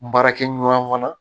Baarakɛɲɔgɔn fana